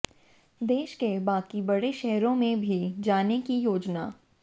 देश के बाकी बड़े शहरों में भी जाने की योजना